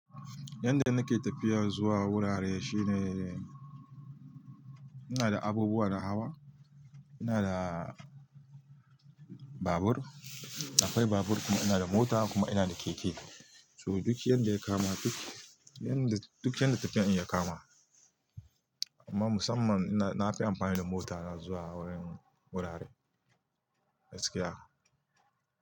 Yanda nake tafiya zuwa wurare shine, inada abubuwa na hawa, ina da babur, aƙwai babur kuma ina da mota kuma inada keke. So duk yanda ya kama, duk yanda tafiyan ya kama. Amma musamman nafi amfani da mota na zuwa wurin wurare gaskiya.